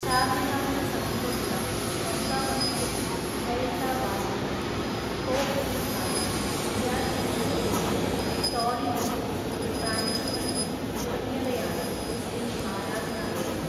ചാർമിനാറിനു സമീപമുള്ള മക്കാ മസ്ജിദ്, ഖൈർതാബാദ് പള്ളി, കോഹ് ഇ ഖായിം, മിയാൻ മിഷ്ക് മസ്ജിദ്, ടോളി മസ്ജിദ്, സ്പാനിഷ് മസ്ജിദ് തുടങ്ങിയവയാണ് മുസ്ലീം ആരാധനാലയങ്ങൾ.